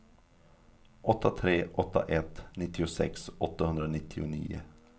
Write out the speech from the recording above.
åtta tre åtta ett nittiosex åttahundranittionio